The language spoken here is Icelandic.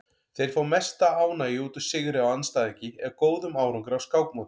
Þeir fá mesta ánægju út úr sigri á andstæðingi eða góðum árangri á skákmóti.